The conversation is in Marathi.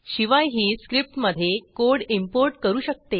शिवाय ही स्क्रिप्टमधे कोड इंपोर्ट करू शकते